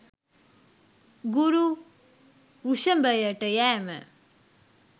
ගුරු වෘෂභයට යෑම